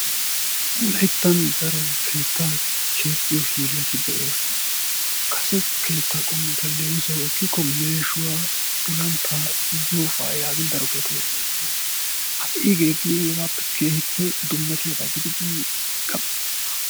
wolayttan daro keettaa keexxiyo hiilati de'oososna. kase keetta qommota leemissuwawu ekkikko meshshuwa, uluntaa yaagin daro kettati de'oososna; ha'i hegeeti keehippe dummatiyaba gididi gam'iis.